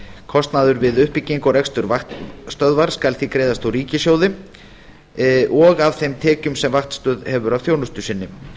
kostnaður við uppbyggingu og rekstur vaktstöðva skal því greiðast úr ríkissjóði og af þeim tekjum sem vaktstöð hefur af þjónustu sinni